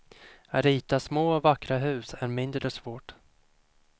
Att rita små vackra hus är mindre svårt.